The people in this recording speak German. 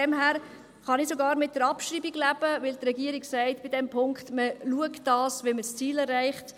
Insofern kann ich sogar mit der Abschreibung leben, weil die Regierung bei diesem Punkt sagt, man sehe zu, dass man das Ziel erreicht.